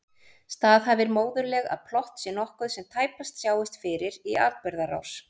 Staðhæfir móðurleg að plott sé nokkuð sem tæpast sjáist fyrir í atburðarás.